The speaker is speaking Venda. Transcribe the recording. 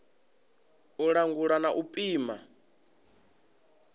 u langula na u pima